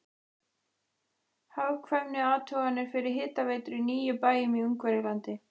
Hagkvæmniathuganir fyrir hitaveitur í níu bæjum í Ungverjalandi.